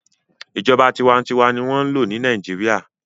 Ìjọba tinwatinwa n wọ́n lò ní Nàìjíríyà